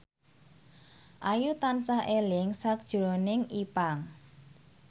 Ayu tansah eling sakjroning Ipank